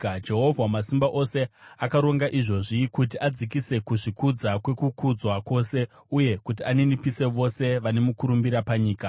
Jehovha Wamasimba Ose akaronga izvozvo, kuti adzikise kuzvikudza kwekukudzwa kwose, uye kuti aninipise vose vane mukurumbira panyika.